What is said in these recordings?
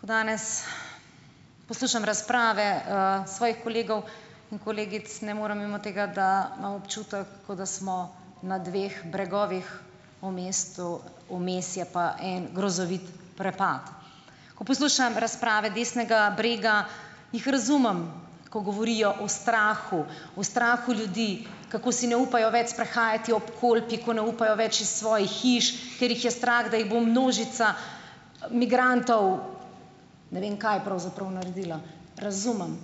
Ko danes poslušam razprave, svojih kolegov in kolegic, ne morem mimo tega, da imam občutek, ko da smo na dveh bregovih, o mestu vmes je pa en grozovit prepad, ko poslušam razprave desnega brega, jih razumem, ko govorijo o strahu, o strahu ljudi, kako si ne upajo več sprehajati ob Kolpi, ko ne upajo več iz svojih hiš, ker jih je strah, da jih bo množica migrantov, ne vem kaj pravzaprav naredila, razumem,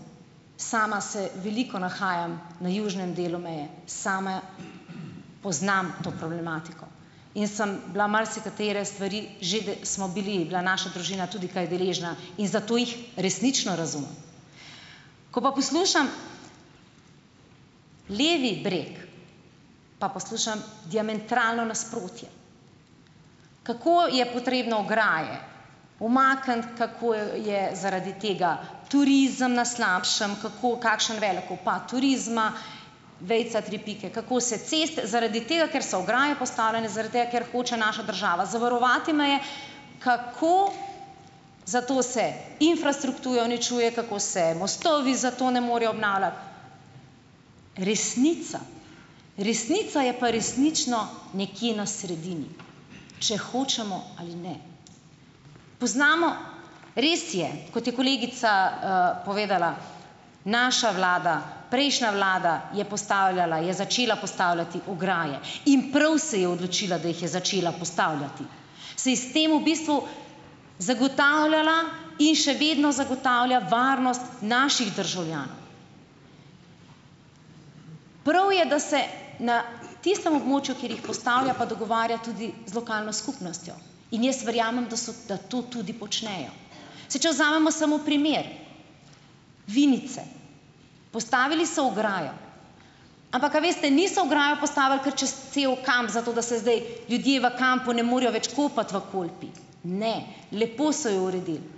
sama se veliko nahajam na južnem delu meje same, poznam to problematiko in sem bila marsikatere stvari, že smo bili, je bila naša družina tudi kaj deležna in zato jih resnično razumem, ko pa poslušam levi breg, pa poslušam diametralno nasprotje, kako je potrebno ograje umakniti, kako je zaradi tega turizem na slabšem, kako kakšen velik upad turizma, vejica tri pike, kako se ceste zaradi tega, ker so ograje postavljene, zaradi tega ker hoče naša država zavarovati meje, kako zato se infrastrukturo uničuje, kako se mostovi zato ne morejo obnavljati. Resnica, resnica je pa resnično nekje na sredini, če hočemo ali ne. Poznamo, res je, kot je kolegica, povedala, naša vlada, prejšnja vlada je postavljala je začela postavljati ograje in prav se je odločila, da jih je začela postavljati, saj s tem v bistvu zagotavljala in še vedno zagotavlja varnost naših državljanov, prav je, da se na tistem območju, kjer jih postavlja, pa dogovarja tudi z lokalno skupnostjo, in jaz verjamem, da so da to tudi počnejo, se je vzamemo samo primer Vinice, postavili so ograjo, ampak, a veste niso ograjo postavili kar čez cel kamp, zato da se zdaj ljudje v kampu ne morejo več kopati v Kolpi, ne, lepo so jo uredili,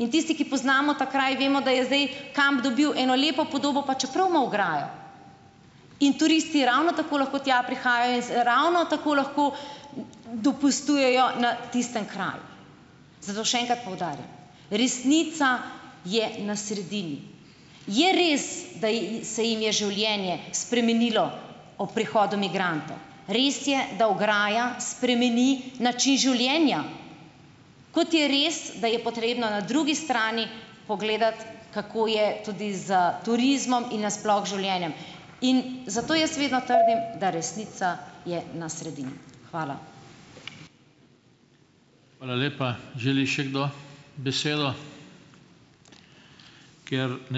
in tisti, ki poznamo ta kraj, vemo, da je zdaj kamp dobil eno lepo podobo, čeprav ima ograjo, in turisti ravno tako lahko tja prihajajo, ravno tako lahko dopustujejo na tistem kraju, zato še enkrat poudarjam, resnica je na sredini, je res, da ji se jim je življenje spremenilo ob prihodu migrantov, res je, da ograja spremeni način življenja, kot je res, da je potrebno na drugi strani pogledati, kako je tudi s turizmom in nasploh življenjem, in zato jaz vedno trdim, da resnica je na sredini. Hvala. Hvala lepa. Želi še kdo besedo? Ker ...